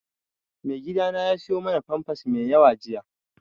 Maigidana ya siyo mana famfas mai yawa jiya